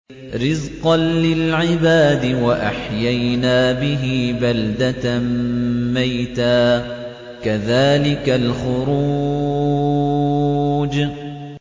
رِّزْقًا لِّلْعِبَادِ ۖ وَأَحْيَيْنَا بِهِ بَلْدَةً مَّيْتًا ۚ كَذَٰلِكَ الْخُرُوجُ